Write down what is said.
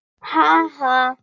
Ha ha.